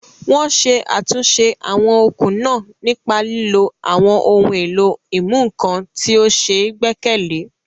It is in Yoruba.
Wọ́n ṣe àtúnṣe àwọn okùn náà nípa lílo àwọn ohun èlò ìmúnǹkan tí ó ṣe é gbẹ́kẹ̀lé.